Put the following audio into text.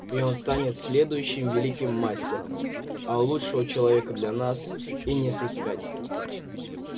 и он станет следующим великим мастером а лучшего человека для нас и не сыскать